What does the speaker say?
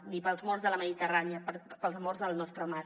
ni pels morts de la mediterrània pels morts al nostre mar